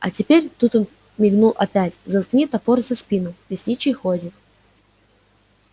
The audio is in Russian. а теперь тут он мигнул опять заткни топор за спину лесничий ходит